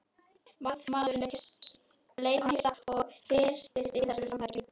Varðmaðurinn leit á hann hissa og fyrtist yfir þessu framtaki.